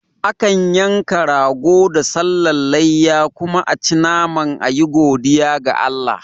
Akan yanka rago da sallan layya kuma aci naman ayi godiya ga Allah